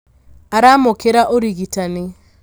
aramũkĩra ũrigitani